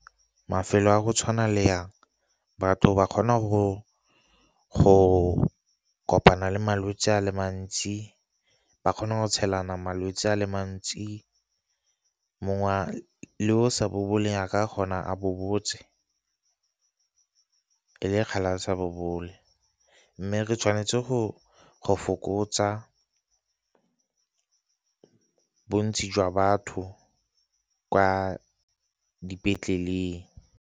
Mafelo a go tshwana le a, batho ba kgona go kopana le malwetse a le mantsi, ba kgona go tshelana malwetse a le mantsi, mongwe le o sa boboleng a kgona a bobotse e le kgale a sa bobole. Mme re tshwanetse go fokotsa bontsi jwa batho kwa dipetleleng.